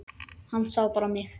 Hann sá bara mig!